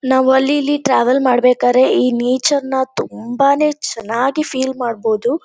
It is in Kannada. ನಾವು ಅಲ್ಲಿ ಇಲ್ಲಿ ಟ್ರಾವೆಲ್ ಮಾಡ್ಬೇಕರೇ ಈ ನೇಚರ್‌ನ ತುಂಬಾನೇ ಚೆನ್ನಾಗಿ ಫೀಲ್ ಮಾಡ್ಬೋದು